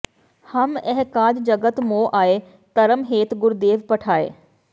ਹਮ ਇਹ ਕਾਜ ਜਗਤ ਮੋ ਆਏ ਧਰਮ ਹੇਤ ਗੁਰਦੇਵ ਪਠਾਏ